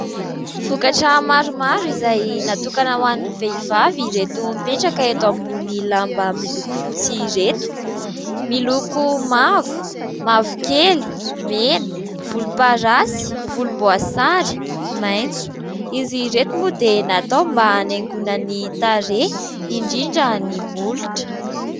Vokatra maromaro izay natokana ho an'ny vehivavy ireto mipetraka eto ambony lamba miloko fotsy ireto. Miloko : mavo, mavokely, mena, volomparasy, volomboasary, maitso. Izy ireto moa dia natao mba hanaingona ny tarehy indrindra ny molotra.